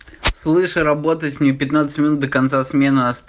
слыш работать не минут до конца смены